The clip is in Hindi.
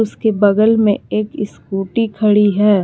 इसके बगल में एक स्कूटी खड़ी है।